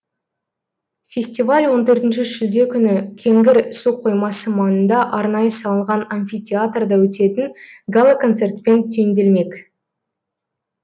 фестиваль он төртінші шілде күні кеңгір су қоймасы маңында арнайы салынған амфитеатрда өтетін гала концертпен түйінделмек